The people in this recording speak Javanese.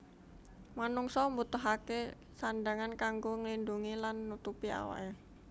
Manungsa mbutuhaké sandhangan kanggo nglindhungi lan nutupi awaké